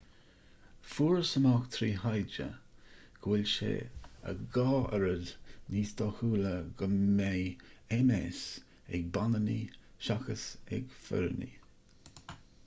fuarthas amach trí ​thaighde go bhfuil sé a dhá oiread níos dóchúla go mbeidh ms ag baineannaigh seachas ag fireannaigh